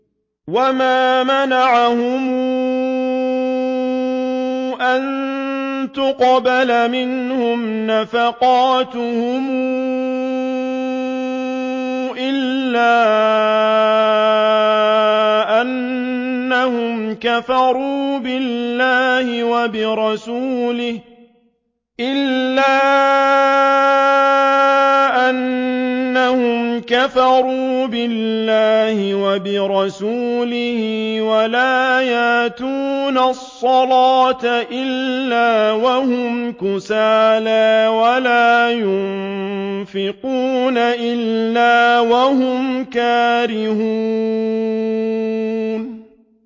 وَمَا مَنَعَهُمْ أَن تُقْبَلَ مِنْهُمْ نَفَقَاتُهُمْ إِلَّا أَنَّهُمْ كَفَرُوا بِاللَّهِ وَبِرَسُولِهِ وَلَا يَأْتُونَ الصَّلَاةَ إِلَّا وَهُمْ كُسَالَىٰ وَلَا يُنفِقُونَ إِلَّا وَهُمْ كَارِهُونَ